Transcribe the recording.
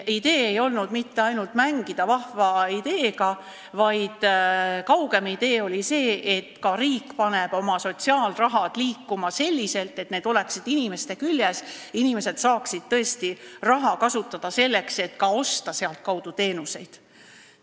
Idee ei olnud mitte ainult mängida vahva mõttega, vaid kaugem idee oli see, et ka riik paneks oma sotsiaalraha liikuma selliselt, et see oleks inimestega seotud ja inimesed saaksid tõesti raha kasutada selleks, et sealtkaudu ka teenuseid osta.